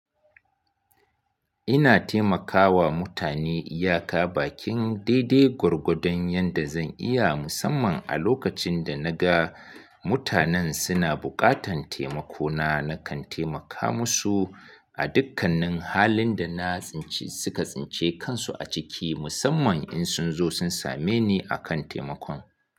Ina taimakawa mutane iya ka bakin daidai gwargwadon yanda zan iya musamman a lokacin da na ga mutanen suna buƙatan taimako na, na kan taimaka musu a dukkanin halin da na tsince, suka tsince kansu a ciki musamman in sun zo sun same ni akan taimakon.